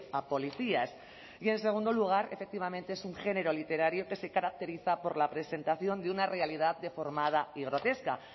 a policías y en segundo lugar efectivamente es un género literario que se caracteriza por la presentación de una realidad deformada y grotesca